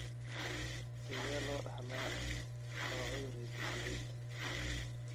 Sidee loo dhaxlaa waa cudur hidde-sideed?